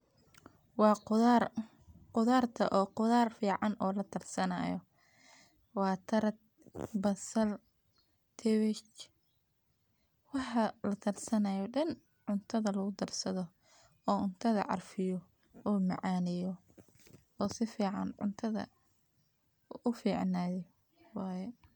Wa qudhar, qudharta oo qudhar fican o lakarsanayo, wa karat, basal, kabaj, wax lagudarsano dan cuntada lagudarsadho, oo cuntada arfiyo,o macaneyo o sifican cuntadah uficneyo waye.